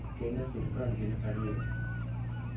kenya sirkal gin ariyo